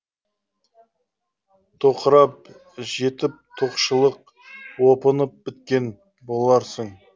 тоқырап жетіп тоқшылық опынып біткен боларсың